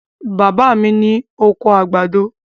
Bàbá mi ní oko àgbàdo.